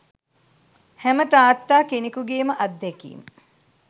හැම තාත්තා කෙනෙකුගේම අත්දැකීම්